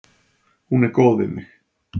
Hún er góð við mig.